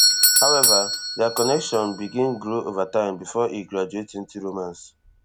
however dia connection begin grow ova time bifor e graduate into romance